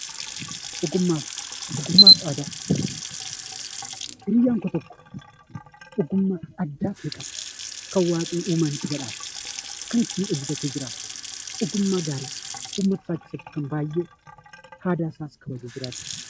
Ogummaa fi aadaa. Ogummaa hiriyyaan koo tokko ogummaa addaa ni qaba. Kan Waaqni uumaan isa badhaase, kan inni ittiin itti jiraatu ogummaa gaarii uummata isaa keessatti kan baayyee aadaa isaa kabajees jiraatu.